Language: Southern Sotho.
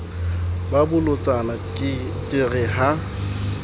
ba bolotsana ke re ha